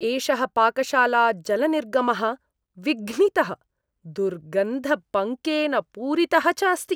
एषः पाकशालाजलनिर्गमः विघ्नितः, दुर्गन्धपङ्केन पूरितः च अस्ति।